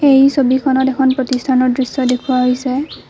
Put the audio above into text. এই ছবিখনত এখন প্ৰতিষ্ঠানৰ দৃশ্য দেখুওৱা হৈছে।